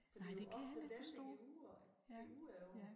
For det jo ofte dem det går udover går udover